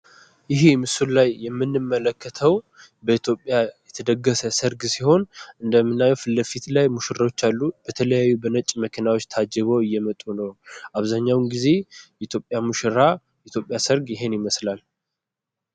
ይህ ምስሉ ላይ የምንመለከተው በኢትዮጵያ የተደገሰ ሰርግ ሲሆን እንደምናየው ፊትለፊት ላይ ሙሽሮች አሉ። የተለያዩ በነጭ መኪናዎች ታጅበው እየመጡ ነው። አብዛኛውን ጊዜ የኢትዮጵያ ሙሽራ የኢትዮጵያ ሰርግ ይሄንን ይመስላል።